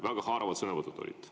Väga haaravad sõnavõtud on olnud.